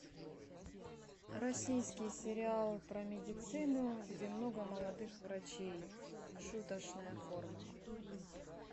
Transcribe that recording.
российский сериал про медицину где много молодых врачей шуточная форма